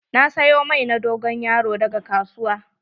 Na siyo mai na dogon yaro daga kasuwa.